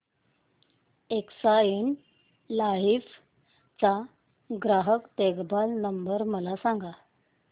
Exide life चा ग्राहक देखभाल नंबर मला सांगा